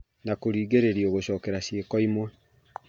na kũringĩrĩrio gũcokera ciĩko imwe.